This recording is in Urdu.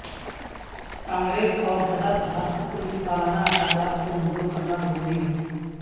کانگریس اور صدر ہر کل سالانہ اخراجات کو منظور کرنا ضروری ہے